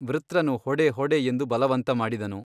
ವೃತ್ರನು ಹೊಡೆ ಹೊಡೆ ಎಂದು ಬಲವಂತ ಮಾಡಿದನು.